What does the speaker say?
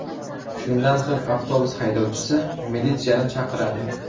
Shundan so‘ng avtobus haydovchisi militsiyani chaqiradi.